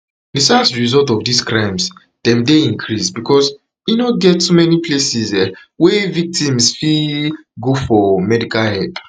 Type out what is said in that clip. di sad result of dis crimes dem dey increased becos e no get too many places um wey victims fit um go for medical help